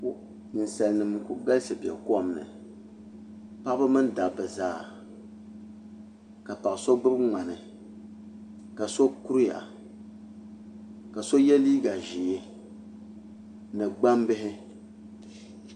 Ninsal nim n ku galisi bɛ kom ni paɣaba mini dabba zaa ka paɣa so gbubi ŋmani ka so kuriya ka so yɛ liiga ʒiɛ ni gbambihi